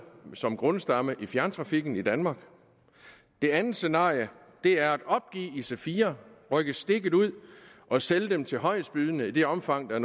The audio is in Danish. som grundstamme i fjerntrafikken i danmark det andet scenarie er at opgive ic4 rykke stikket ud og sælge dem til højestbydende i det omfang der